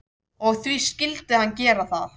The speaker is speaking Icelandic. Og því skyldi hann gera það.